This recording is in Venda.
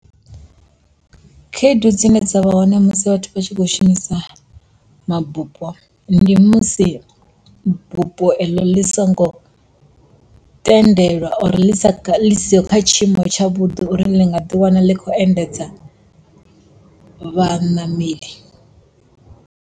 Khaedu dzine dza vha hone musi vhathu vha tshi kho shumisa mabupo ndi musi bupo eḽo ḽi songo tendelwa or ḽi siho kha tshiimo tsha vhudi uri ḽi nga ḓi wana ḽi kho endedza vhaṋameli.